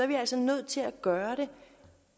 vi altså nødt til at gøre det